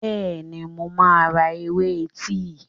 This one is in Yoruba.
Bẹ́ẹ̀ni, mo máa ra ewé tíì.